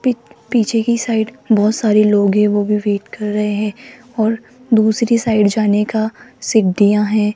P पीछे की side बहुत सारे लोग हैं वो भी वेट कर रहे हैं और दूसरी साइड जाने का सिडियाँ है।